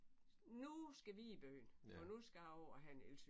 Nu skal vi i byen for nu skal jeg over og have en elcykel